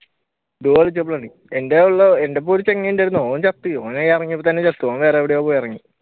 duo കളിച്ചപ്പോഴാണ് എന്റെഎന്റെയൊപ്പം ഒരു ചങ്ങായി ഉണ്ടായിരുന്നു ഓൻ ചത്ത് ഓൻ ഇറങ്ങിയപ്പോ തന്നെ ചത്തു ഓൻ വേറെവിടെയോ പോയി ഇറങ്ങി